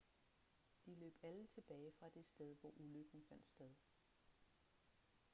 de løb alle tilbage fra det sted hvor ulykken fandt sted